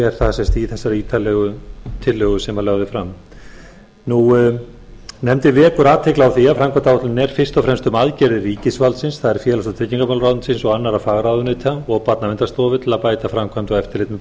er það sem sagt í þessari ítarlegu tillögu sem lögð er fram nefndin vekur athygli á að framkvæmdaáætlunin er fyrst og fremst um aðgerðir ríkisvaldsins það er félags og tryggingamálaráðuneytis og annarra fagráðuneyta og barnaverndarstofu til að bæta framkvæmd og